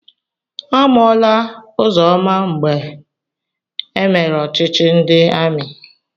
Amụọla Ụzọma mgbe emere ọchịchị ndị amị.